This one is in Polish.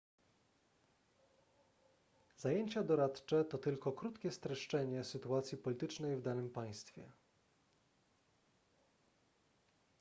zajęcia doradcze to tylko krótkie streszczenie sytuacji politycznej w danym państwie